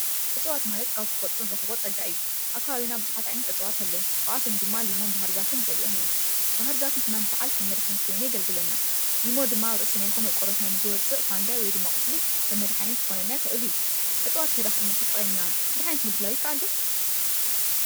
እፅዋት ማለት ካብ ተፈጥሮ ንረክቦ ፀጋ እዩ ኣብ ከባቢና ብዙሓት እፅዋት ኣለዉ ካብኣቶ ድማ ኒማን ባሃርዛፍን ገሊኦም እዮም ባሃርዛፍ ድማ ንሰዓል ከም መድሓኒት ኮይኑ የገልግለና ኒሞ ድማ ኣብ ርእስና ይኩን ኣብ ቆርበትና ንዝወፅእ ፋንጋይ ወይ ድማ ቁስሊ ከም መድሓኒት ክኮነና ይክእል እዩ እፅዋት እንተ ድኣ ተጠቂምና መድሓኒት ምድላዉ ይከኣል ዶ?